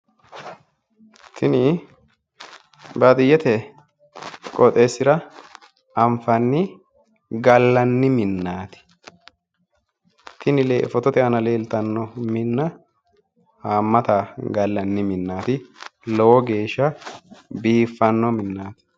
Tini baadiyyete qoxxeesira anfanni gallanni minnati, lowo geeshsha biifano minnati